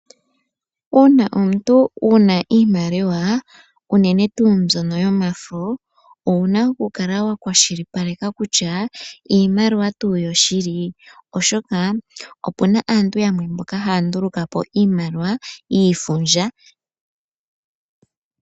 Uuna omuntu wuna iimaliwa, unene tuu mbyono yomafo owuna oku kala wa kwashilipaleka kutya iimaliwa tuu yoshili, oshoka opuna aantu yamwe mboka haya nduluka po iimaliwa yiifundja.